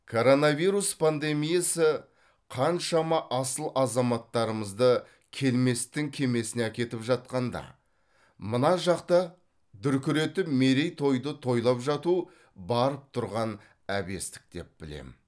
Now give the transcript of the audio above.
коронавирус пандемиясы қаншама асыл азаматтарымызды келместің кемесіне әкетіп жатқанда мына жақта дүркіретіп мерейтойды тойлап жату барып тұрған әбестік деп білем